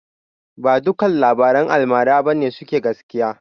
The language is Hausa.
Ba dukkan labaran almara ba ne suke gaskiya.